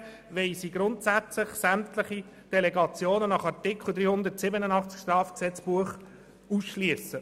Hingegen wollen sie grundsätzlich sämtliche Delegationen nach Artikel 387 des Strafgesetzbuchs ausschliessen.